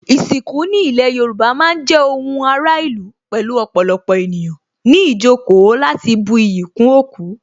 Ìsìnkú ní ilé Yorùbá má ń jẹ́ ohun ara ìlú pẹ̀lú ọ̀pọ̀lọpọ̀ ènìyàn ní ìjókòó láti bu iyì kún òkú